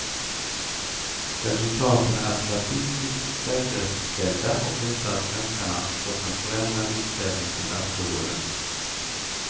Resultaten är statistiskt säkerställda och visar att svenskarna fått en förändrad inställning till alkoholen.